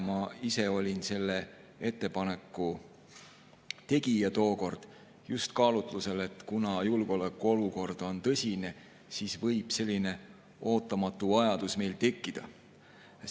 Ma ise olin tookord selle ettepaneku tegija ja seda just kaalutlusel, et kuna julgeolekuolukord on tõsine, siis võib selline ootamatu vajadus meil tekkida.